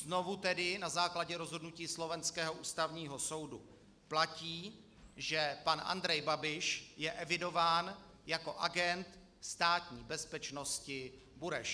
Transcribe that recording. Znovu tedy na základě rozhodnutí slovenského Ústavního soudu platí, že pan Andrej Babiš je evidován jako agent státní bezpečnosti Bureš.